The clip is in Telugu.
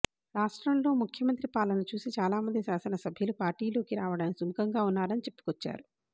రాష్ట్రంలో ముఖ్యమంత్రి పాలన చూసి చాలా మంది శాసనసభ్యులు పార్టీలోకి రావడానికి సుముఖంగా ఉన్నారని చెప్పుకొచ్చారు